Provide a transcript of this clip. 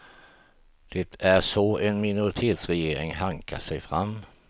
Det är så en minoritetsregering hankar sig fram.